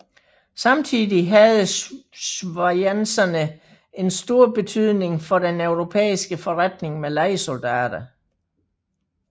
Samtidig havde schwyzerne en stor betydning for den europæiske forretning med lejesoldater